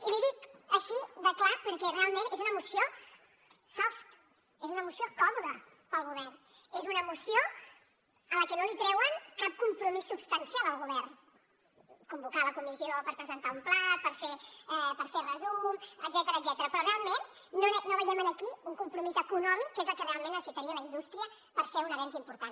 i l’hi dic així de clar perquè realment és una moció soft és una moció còmoda per al govern és una moció amb la qual no treuen cap compromís substancial al govern convocar la comissió per presentar un pla per fer resum etcètera però realment no veiem aquí un compromís econòmic que és el que realment necessitaria la indústria per fer un avenç important